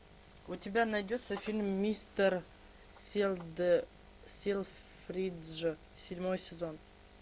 у тебя найдется фильм мистер селфридж седьмой сезон